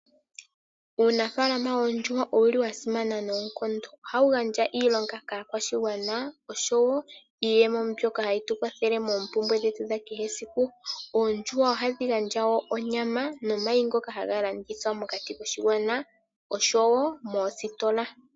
Uunafaalama woondjuhwa owuli wa simana noonkondo. Ohamu gandja iilonga kaakwashigwana oshowo iiyemo mbyoka hayi tukwathele moompumbwe dhetu dhesiku kehe. Oondjuhwa ohadhi gandja woo onyama nomayi ngoka haga landithwa mokati koshigwana oshowo moositola.